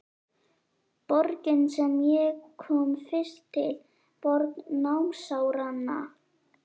Borgin sem ég kom fyrst til, borg námsáranna.